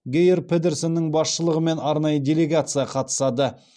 гейр педерсеннің басшылығымен арнайы делегация қатысады